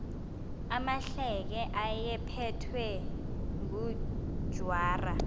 amahleke ayephethwe ngujwarha